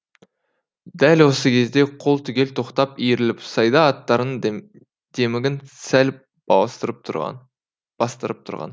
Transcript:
дәл осы кезде қол түгел тоқтап иіріліп сайда аттарының демігін сәл бастырып тұрған